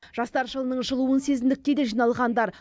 жастар жылының жылуын сезіндік дейді жиналғандар